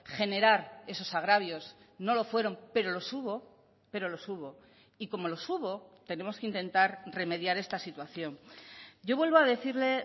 generar esos agravios no lo fueron pero los hubo pero los hubo y como los hubo tenemos que intentar remediar esta situación yo vuelvo a decirle